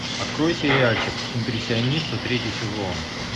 открой сериальчик импрессионисты третий сезон